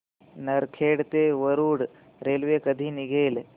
नरखेड ते वरुड रेल्वे कधी निघेल